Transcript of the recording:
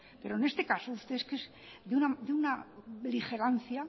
pero en este caso usted es de una beligerancia